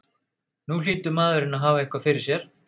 Nú hlýtur maðurinn að hafa eitthvað fyrir sér?